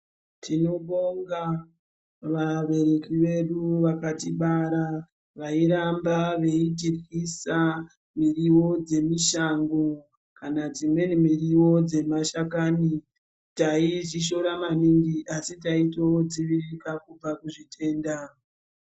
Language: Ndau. Tinobonga vabereki vedu vakatibara vairamba veitiryisa miriwo dzemishango kana dzimweni miriwo dzemashakani. Taizvishoora maningi asi taitodzivirika kubva kuzvitenda.